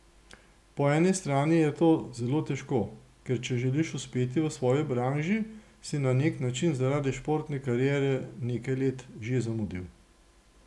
Po eni strani je to zelo težko, ker če želiš uspeti v svoji branži, si na nek način zaradi športne kariere nekaj let že zamudil.